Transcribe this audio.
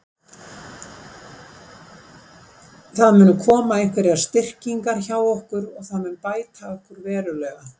Það munu koma einhverjar styrkingar hjá okkur og það mun bæta okkur verulega.